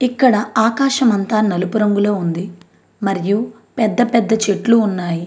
ఇక్కడ ఆకాశమంత నలుపు రంగులో ఉంది మరియు పెద్ద పెద్ద చెట్లు ఉన్నాయి.